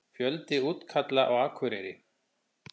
Fjöldi útkalla á Akureyri